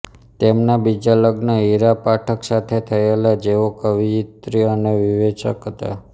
તેમના બીજા લગ્ન હીરા પાઠક સાથે થયેલા જેઓ કવિયત્રી અને વિવેચક હતા